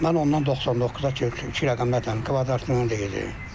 Mən ondan 99-a qədər iki rəqəmli ədədin kvadratını deyəcəm.